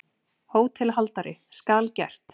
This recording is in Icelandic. HÓTELHALDARI: Skal gert.